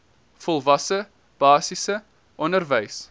volwasse basiese onderwys